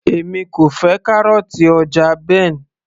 èmi kò fẹ́ kárọ̀ọ̀tì ọjà Ben